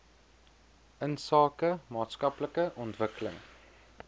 insake maatskaplike ontwikkeling